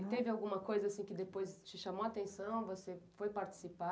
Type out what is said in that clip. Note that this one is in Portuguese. E teve alguma coisa assim que depois te chamou a atenção, você foi participar?